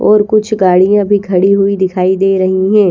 और कुछ गाड़ियां भी खड़ी हुई दिखाई दे रही हैं।